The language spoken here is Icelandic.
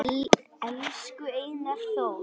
Elsku Einar Þór